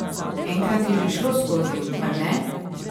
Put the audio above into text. Enkrat je že šlo skozi, mar ne?